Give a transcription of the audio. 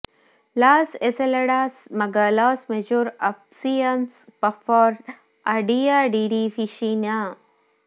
loss ಎಸೆಲಾಡಸ್ ಮಗ ಲಾಸ್ ಮೆಜೋರ್ ಆಪ್ಸಿಯಾನ್ಸ್ ಫಾರ್ ಅ ಡಿಯಾ ಡಿ ಡಿ ಫಿಶಿನಾ